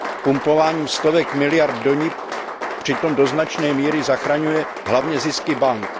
Pumpováním stovek miliard do nich přitom do značné míry zachraňuje hlavně zisky bank.